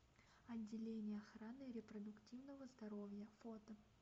отделение охраны репродуктивного здоровья фото